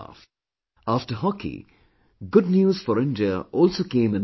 After hockey, good news for India also came in badminton